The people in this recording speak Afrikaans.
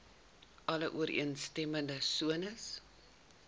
alle ooreenstemmende sones